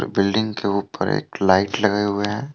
Building के ऊपर एक लाइट लगे हुए हैं।